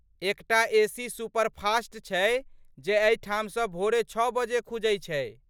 एकटा AC superfast छै जे एहिठामसँ भोरे छओ बजे खुजै छै।